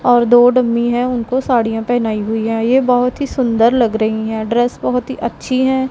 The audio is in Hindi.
और दो डमी हैं उनको साड़ियां पहनाई हुई हैं ये बहोत ही सुंदर लग रही हैं ड्रेस बहोत ही अच्छी हैं।